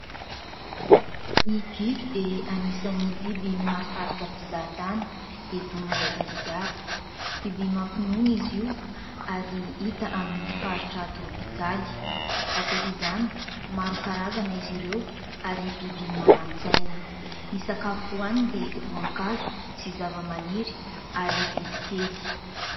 Ny gidro dia anisan'ny biby mahasarika mpizahatany eto Madagasikara. Biby mampinono izy io ary hita amin'ny faritra tropikaly. Ankoatr'izany, maro karazana izy ireo ary biby manan-tsaina. Ny sakafo hohaniny dia voankazo sy zava-maniry ary bibikely.